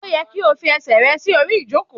O yẹ ki o ko fi ẹsẹ rẹ si ori ijoko!